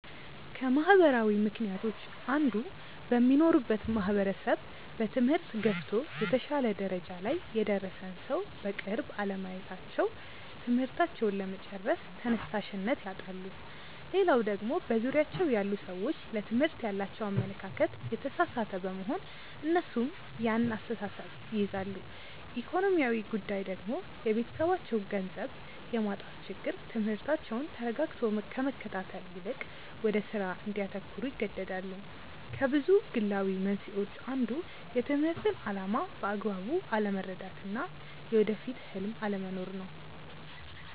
ከማህበራዊ ምክንያቶች አንዱ በሚኖሩበት ማህበረሰብ በትምህርት ገፍቶ የተሻለ ደረጃ ላይ የደረሰን ሰው በቅርብ አለማየታቸው ትምህርታቸውን ለመጨረስ ተነሻሽነት ያጣሉ። ሌላው ደግሞ በዙሪያቸው ያሉ ሰዎች ለትምህርት ያላቸው አመለካከት የተሳሳተ በመሆን እነሱም ያን አስተሳሰብ ይይዛሉ። ኢኮኖሚያዊ ጉዳይ ደግሞ የቤተሰባቸው ገንዘብ የማጣት ችግር ትምህርታቸውን ተረጋግቶ ከመከታተል ይልቅ ወደ ስራ እንዲያተኩሩ ይገደዳሉ። ከብዙ ግላዊ መንስኤዎች አንዱ የትምህርትን አላማ በአግባቡ አለመረዳት እና የወደፊት ህልም አለመኖር ነው።